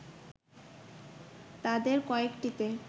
তাদের কয়েকটিতে